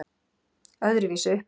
Öðruvísi uppeldi